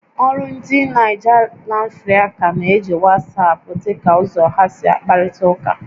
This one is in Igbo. Ólú ndi Naịja Lanfrịca na-eji WhatsApp dị ka ụzọ ha si akparịta ụka